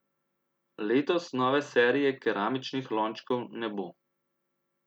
Letos nove serije keramičnih lončkov ne bo.